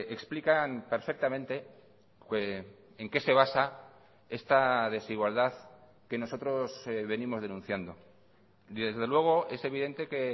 explican perfectamente en qué se basa esta desigualdad que nosotros venimos denunciando y desde luego es evidente que